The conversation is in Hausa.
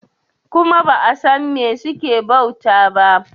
kuma ba a San me suke bauta ba